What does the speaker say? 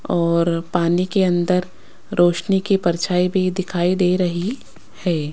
और पानी के अन्दर रोशनी की परछाईं भी दिखाई दे रही है।